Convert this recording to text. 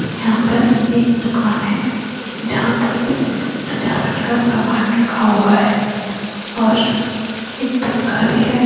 यहाँ पर एक दुकान है जहाँ पर कुछ सजावट का सामान रखा हुआ है और एक पंखा भी है।